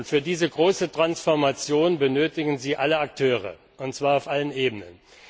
Für diese große Transformation benötigen Sie alle Akteure, und zwar auf allen Ebenen.